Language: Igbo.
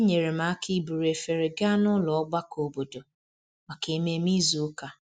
Enyere m aka iburu efere gaa nụlọ ogbako obodo maka ememe izu ụka